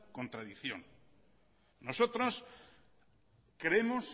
contradicción nosotros creemos